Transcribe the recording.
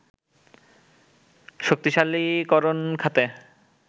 শক্তিশালীকরণ খাতে